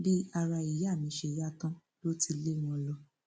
bí ara ìyá mi ṣe yá tán ló ti lé wọn lọ